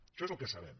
això és el que sabem